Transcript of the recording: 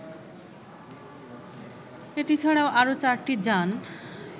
এটি ছাড়াও আরো চারটি যান